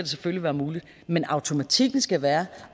selvfølgelig være muligt men automatikken skal være